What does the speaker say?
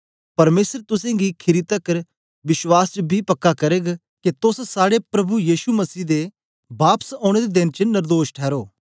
परमेसर तुसेंगी खीरी तकर विश्वास च बी पक्का करग के तोस साड़े प्रभु यीशु मसीह बापस औने दे देन च नर्दोश ठैरो